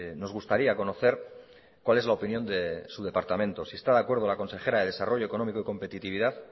nos gustaría conocer cual es la opinión de su departamento si está de acuerdo la consejera de desarrollo económico y competitividad